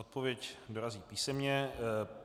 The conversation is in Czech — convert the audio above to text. Odpověď dorazí písemně.